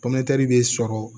bɛ sɔrɔ